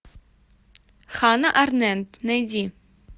ханна арендт найди